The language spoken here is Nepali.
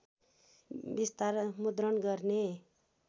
विस्तार मुद्रण गर्ने